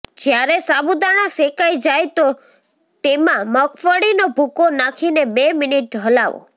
જ્યારે સાબૂદાણા સેકાય જાય તો તેમા મગફળીનો ભૂકો નાખીને બે મિનિટ ચલાવો